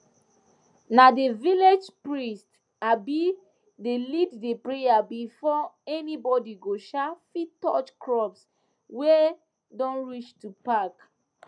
na the village priest um dey lead the prayer before anybody go um fit touch crops wey don reach to pack